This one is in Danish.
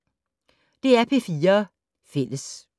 DR P4 Fælles